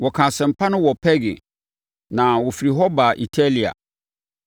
Wɔkaa asɛmpa no wɔ Perge, na wɔfiri hɔ baa Atalia.